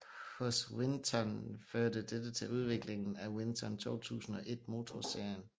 Hos Winton førte dette til udviklingen af Winton 201 motorserien